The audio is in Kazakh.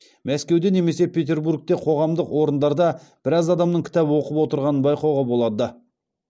мәскеуде немесе петербургте қоғамдық орындарда біраз адамның кітап оқып отырғанын байқауға болады